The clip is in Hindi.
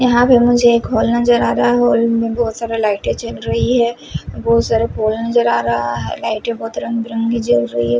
यहाँ पे मुझे एक हॉल नज़र आ रहा है हॉल में बहुत सारा लाइटें जल रही हैं बहुत सारा पोल नज़र आ रहा है लाइटें बहुत रंग बिरंगी जल रही हैं।